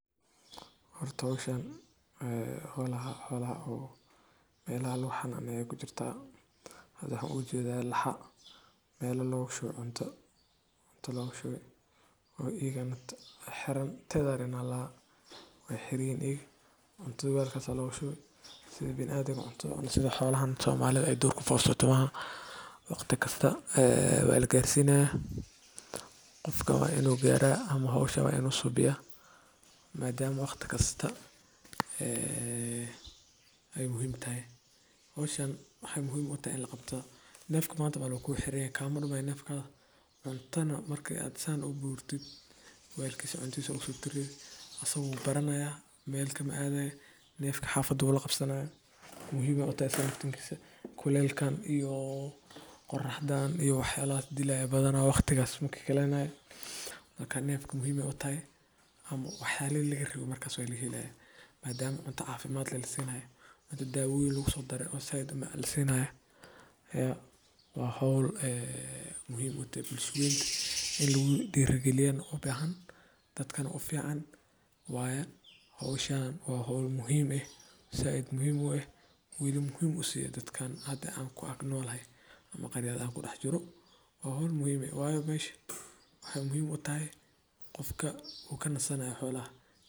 Horta howshan e xolaha o meel lagu xananeyo kujirta e waxan u jeeda laxa meela loga shubay cunta e loga shubay cunta walka aya logashubay sida xolahan Somalida e duurka joga maaha waqti kasta walaga garsiina qofka wa inu gara howsha subiya maadama waqti kasta e ay mujim tahay hwoshan waxay muhim u tahay neefka manta daan wu kuxeran yahay makalumaay nefka cuntana marka saan u siso asagana wu baranaya nefka xafada laqabsanaya muhim ay utahay kuleylka iyo qoraxda waxayalaha dilaya waqtigas makikaleynaya ay nefka muhim ay utahay markas walahelaya marka cunta cafimad leh lasinaya cunta dawooyin leh ad u mac lasinaya wa howl muhim utahay inlagu dhiri galiya dadkana u fican waya hwshan wa howl muhim eh zaaid muhim eh wali muhim usi eeh dadka an kuag nolahay ama an kudaxjuro wa howl muhim eh wayo waxay muhim utahay qofka u kanasanaya xolaha.